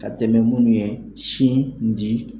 Ka tɛmɛ munnu ye sin di